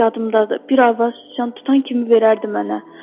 Yadımdadır, bir arvad sıçan tutan kimi verərdi mənə.